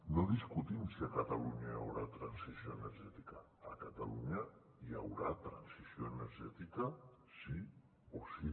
no discutim si a catalunya hi haurà transició energètica a catalunya hi haurà transició energètica sí o sí